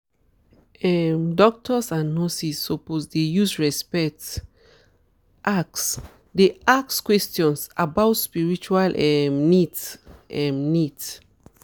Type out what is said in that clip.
doctors and nurses suppose dey use respect um ask dey ask questions about spiritual um needs um needs